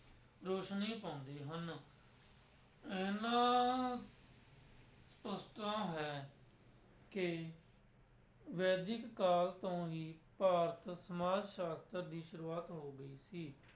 ਰੋਸ਼ਨੀ ਪਾਉਂਦੇ ਹਨ ਇਹਨਾਂ ਹੈ ਕਿ ਵੈਦਿਕ ਕਾਲ ਤੋਂ ਹੀ ਭਾਰਤ ਸਮਾਜ ਸ਼ਾਸਤਰ ਦੀ ਸ਼ੁਰੂਆਤ ਹੋ ਗਈ ਸੀ।